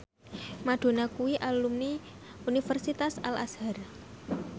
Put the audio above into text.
Madonna kuwi alumni Universitas Al Azhar